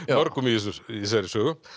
mörgum í þessari í þessari sögu